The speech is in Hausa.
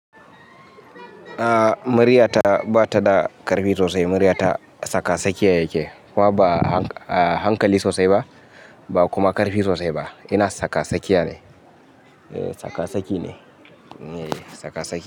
A murya ta bata da ƙarfi sosai. Muryata tsakatsakiya yake, kuma ba a hankali sosai ba, ba kuma ƙarfi sosai ba. Ina tsakatsakiya ne. Tsakasaki ne. Tsakasaki.